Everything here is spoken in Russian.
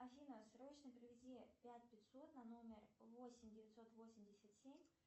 афина срочно переведи пять пятьсот на номер восемь девятьсот восемьдесят семь